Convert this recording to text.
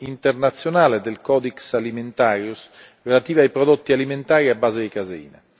internazionale del Codex Alimentarius relativa ai prodotti alimentari a base di caseina.